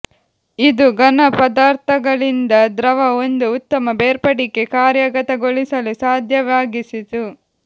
ಇದು ಘನ ಪದಾರ್ಥಗಳಿಂದ ದ್ರವ ಒಂದು ಉತ್ತಮ ಬೇರ್ಪಡಿಕೆ ಕಾರ್ಯಗತಗೊಳಿಸಲು ಸಾಧ್ಯವಾಗಿಸಿತು